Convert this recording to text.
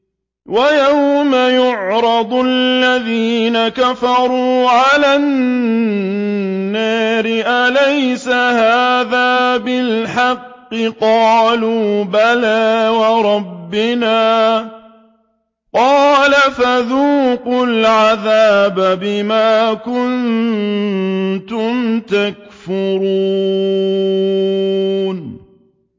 وَيَوْمَ يُعْرَضُ الَّذِينَ كَفَرُوا عَلَى النَّارِ أَلَيْسَ هَٰذَا بِالْحَقِّ ۖ قَالُوا بَلَىٰ وَرَبِّنَا ۚ قَالَ فَذُوقُوا الْعَذَابَ بِمَا كُنتُمْ تَكْفُرُونَ